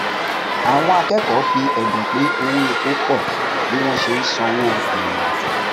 àwọn akẹkọọ fi ẹdùn pé owó epo pọ bí wọn ṣe sanwó ìrìnàjò